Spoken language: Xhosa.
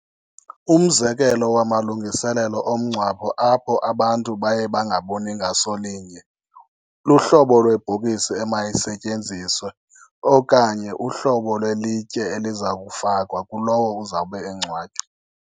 Umzekelo wamalungiselelo omngcwabo apho abantu baye bangaboni ngaso linye, luhlobo lwebhokisi emayisetyenziswe okanye uhlobo lwelitye eliza kufakwa kulowo uzawube engcwatywa.